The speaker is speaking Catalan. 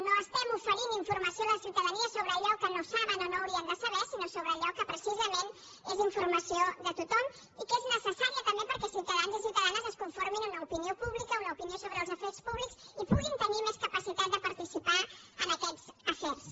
no oferim informació a la ciutadania sobre allò que no saben o no haurien de saber sinó sobre allò que precisament és informació de tothom i que és necessària també perquè ciutadans i ciutadanes es conformin una opinió sobre els afers públics i puguin tenir més capacitat de participar en aquests afers